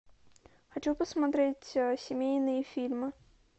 хочу посмотреть семейные фильмы